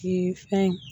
fɛn